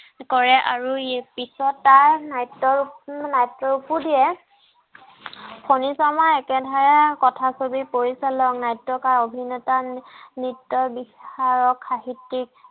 কৰে আৰু পিছত তাৰ নাট্য ফনী শৰ্মাৰ একে দ্বাৰা কথা ছবি পৰিচালক নাট্যকাৰ অভিনেতা নৃত্য বিশাৰদ সাহিত্যিক